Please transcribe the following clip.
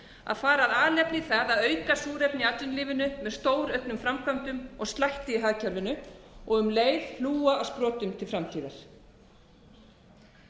að fara af alefli í það að auka súrefni í atvinnulífinu með stórauknum framkvæmdum og slætti í hagkerfinu um leið hlúa að sprotum til framtíðar